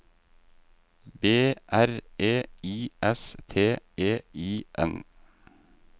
B R E I S T E I N